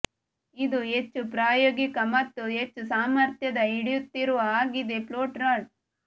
ಇದು ಹೆಚ್ಚು ಪ್ರಾಯೋಗಿಕ ಮತ್ತು ಹೆಚ್ಚು ಸಾಮರ್ಥ್ಯದ ಹಿಡಿಯುತ್ತಿರುವ ಆಗಿದೆ ಫ್ಲೋಟ್ ರಾಡ್